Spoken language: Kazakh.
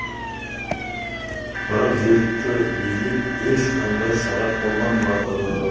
бірақ жергілікті билік ешқандай шара қолданбапты